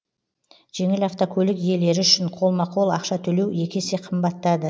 жеңіл автокөлік иелері үшін қолма қол ақша төлеу екі есе қымбаттады